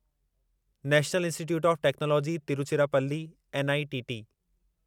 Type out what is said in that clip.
national institute of technology Tiruchirappalli NITT